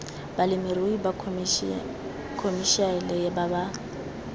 balemirui ba khomešiale ba ba